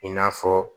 I n'a fɔ